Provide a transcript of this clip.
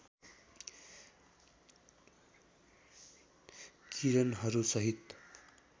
किरणहरू सहित